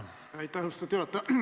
Aitäh, austatud juhataja!